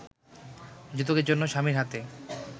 যৌতুকের জন্য স্বামীর হাতে